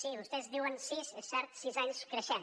sí vostès diuen sis és cert sis anys creixent